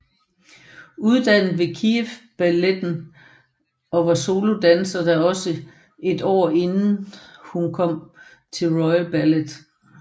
Uddannet ved Kyiv Balletten og var solodanser der i et år inden hun kom til Royal Ballet